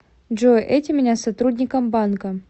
джой эти меня с сотрудником банка